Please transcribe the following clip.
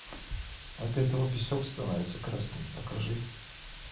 от этого песок становится красным покажи